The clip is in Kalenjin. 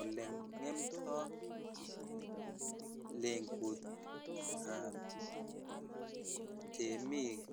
Oleng'emndoo legutab temik